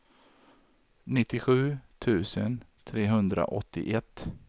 nittiosju tusen trehundraåttioett